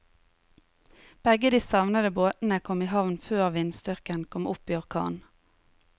Begge de savnede båtene kom i havn før vindstyrken kom opp i orkan.